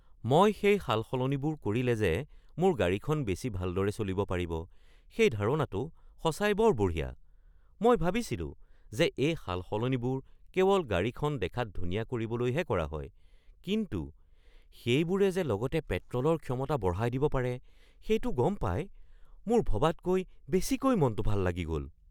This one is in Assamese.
মই সেই সালসলনিবোৰ কৰিলে যে মোৰ গাড়ীখন বেছি ভালদৰে চলিব পাৰিব সেই ধাৰণাটো সঁচাই বৰ বঢ়িয়া। মই ভাবিছিলো যে এই সালসলনিবোৰ কেৱল গাড়ীখন দেখাত ধুনীয়া কৰিবলৈহে কৰা হয় কিন্তু সেইবোৰে যে লগতে পেট্ৰ’লৰ ক্ষমতা বঢ়াই দিব পাৰে সেইটো গম পাই মোৰ ভবাতকৈ বেছিকৈ মনটো ভাল লাগি গ'ল।